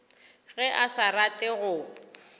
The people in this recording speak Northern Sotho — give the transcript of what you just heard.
ge a sa rate go